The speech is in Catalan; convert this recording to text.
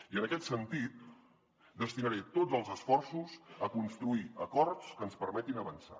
i en aquest sentit destinaré tots els esforços a construir acords que ens permetin avançar